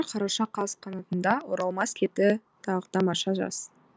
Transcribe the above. қараша қаз қанатында оралмас кетті тағы тамаша жаз